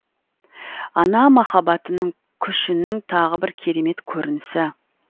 ана махаббатының күшінің тағы бір керемет көрінісі